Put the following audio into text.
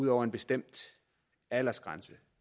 når en bestemt aldersgrænse